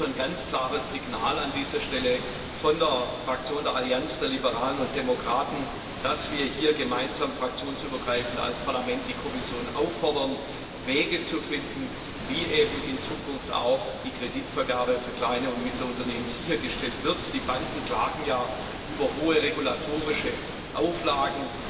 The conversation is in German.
Also Ein ganz klares Signal an dieser Stelle von der Fraktion der Allianz der Liberalen und Demokraten, dass wir hier gemeinsam fraktionsübergreifend als Parlament die Kommission auffordern, Wege zu finden, wie eben in Zukunft auch die Kreditvergabe für kleine und mittlere Unternehmen sichergestellt wird. Die Banken klagen ja über hohe regulatorische Auflagen.